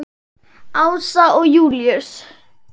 Ása og Júlíus.